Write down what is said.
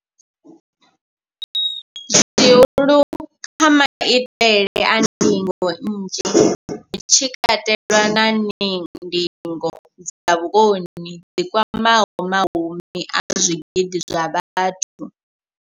Zwihulu, maitele a ndingo nnzhi, hu tshi katelwa na ndingo dza vhukoni dzi kwamaho mahumi a zwigidi zwa vhathu.